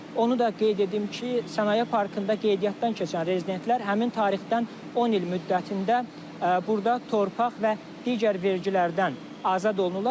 Onu da qeyd edim ki, sənaye parkında qeydiyyatdan keçən rezidentlər həmin tarixdən 10 il müddətində burda torpaq və digər vergilərdən azad olunurlar.